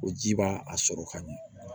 O ji b'a a sɔrɔ ka ɲɛ